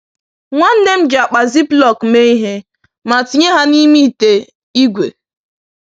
Nwanne m ji akpa ziplock mee ihe, ma tinye ha n’ime ite ígwè.